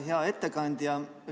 Hea ettekandja!